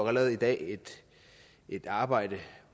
allerede i dag et arbejde